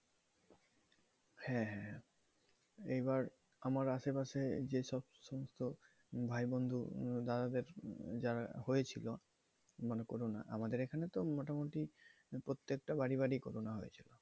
হ্যাঁ হ্যাঁ এবার আমার আশেপাশে যে সমস্ত ভাই বন্ধু দাদাদের যারা হয়েছিল মানে corona আমাদের এখানে তো মোটামুটি প্রত্যেকটা বাড়ি বাড়ি করুণা হয়েছিল